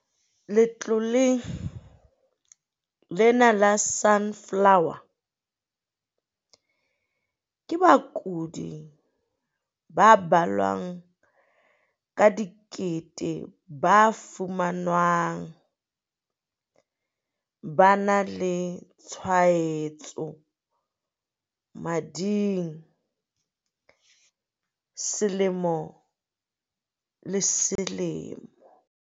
Letloleng lena la Sunflower, ke bakudi ba balwang ka dikete ba fumanwang ba na le tshwaetso mading selemo le selemo.